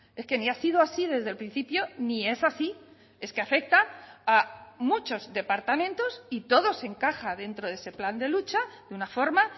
es que ni ha sido así desde el principio ni es así es que afecta a muchos departamentos y todo se encaja dentro de ese plan de lucha de una forma